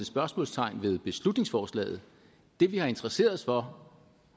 spørgsmålstegn ved beslutningsforslaget det vi har interesseret os for